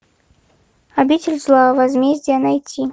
обитель зла возмездие найти